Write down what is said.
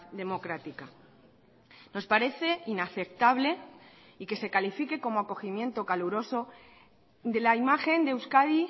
democrática nos parece inaceptable y que se califique como acogimiento caluroso de la imagen de euskadi